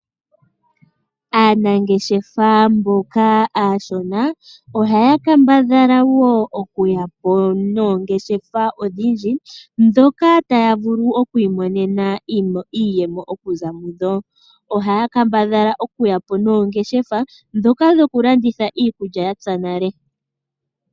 Aanangeshefa mboka aashona oha ya kambadhala wo okuya po noongeshefa odhindji, ndhoka ta ya vulu oku imonena iiyemo oku za mu dho. Oha ya kambadhala oku ya po noongeshefa ndhoka dho ku landitha iikulya ya pya nale.